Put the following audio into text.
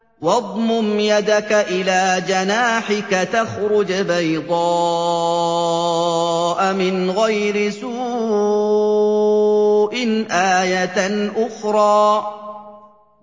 وَاضْمُمْ يَدَكَ إِلَىٰ جَنَاحِكَ تَخْرُجْ بَيْضَاءَ مِنْ غَيْرِ سُوءٍ آيَةً أُخْرَىٰ